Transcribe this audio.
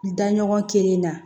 Da ɲɔgɔn kelen na